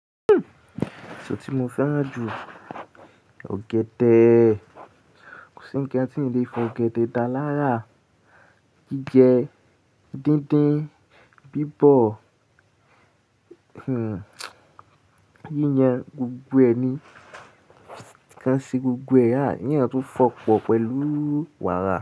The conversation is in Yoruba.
Èso tí mo fẹ́ràn jù, ọ̀gẹ̀dẹ̀. Kò sí ń kan tin le fọ ọ̀gẹ̀dẹ̀ dá lára. Jíjẹ díndín, bíbọ̀, hmmm, yíyan gbogbo ẹni kan ṣe gbogbo kin eyan tún fọ pọ̀ pẹ̀lú wàrà.